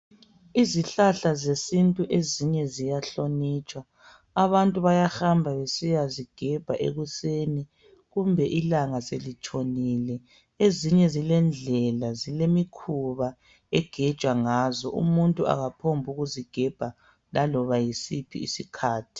Izihlahla zesintu ezinye ziyahlonitshwa. Abantu bayahamba besiyazigebha ekuseni, kumbe ilanga selitshonile. Ezinye zilendlela, zilemikhuba egwejwa ngazo. Umuntu kaphongu kuzigebha bje loba ngasiphi isikhathi.